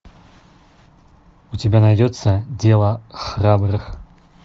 у тебя найдется дело храбрых